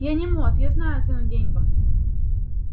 я не мот я знаю цену деньгам